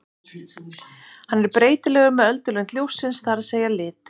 Hann er breytilegur með öldulengd ljóssins, það er að segja lit.